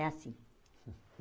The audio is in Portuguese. É assim.